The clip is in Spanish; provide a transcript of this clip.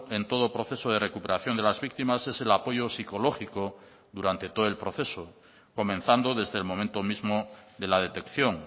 en todo proceso de recuperación de las víctimas es el apoyo psicológico durante todo el proceso comenzando desde el momento mismo de la detección